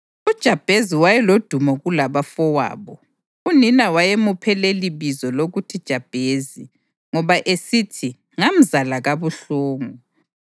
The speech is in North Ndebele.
UJabhezi wayelodumo kulabafowabo. Unina wayemuphe lelibizo lokuthi Jabhezi, ngoba esithi “Ngamzala kabuhlungu.”